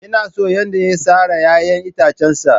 Ina son yadda ya tsara 'ya'yan itacensa.